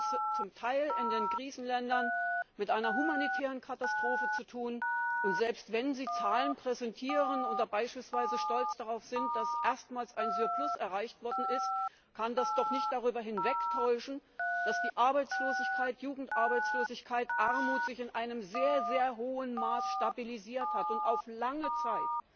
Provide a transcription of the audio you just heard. Wir haben es zum Teil in den Krisenländern mit einer humanitären Katastrophe zu tun, und selbst wenn Sie Zahlen präsentieren oder beispielsweise stolz darauf sind, dass erstmals ein Surplus erreicht worden ist, kann das doch nicht darüber hinwegtäuschen, dass Arbeitslosigkeit, Jugendarbeitslosigkeit, Armut sich in einem sehr hohen Maß stabilisiert haben und dies auf lange Zeit